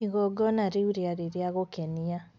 igongona ríu ríarí ría gūkenia